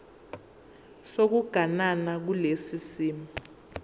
sokuganana kulesi simo